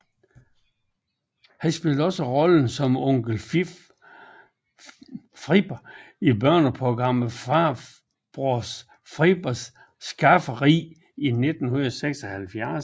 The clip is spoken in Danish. Han spillede også rollen som onkel Frippe i børneprogrammet Farbror Frippes Skafferi i 1976